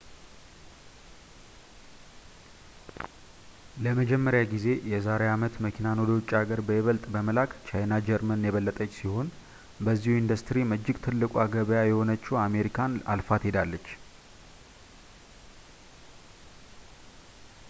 ለመጀመሪያ ጊዜ የዛሬ አመት መኪናን ወደ ውጭ ሀገር በይበልጥ በመላክ ቻይና ጀርመን የበለጠች ሲሆን በዚሁ ኢንዱስትሪም እጅግ ትልቋ ገበያ የሆነችውን አሜሪካን አልፋት ሄዳለች